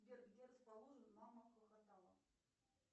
сбер где расположен мама хохотала